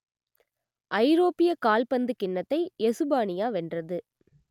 ஐரோப்பியக் கால்பந்துக் கிண்ணத்தை எசுப்பானியா வென்றது